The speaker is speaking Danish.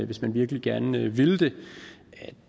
hvis man virkelig gerne ville det